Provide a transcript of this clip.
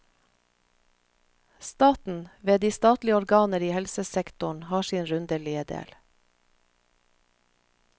Staten, ved de statlige organer i helsesektoren, har sin rundelige del.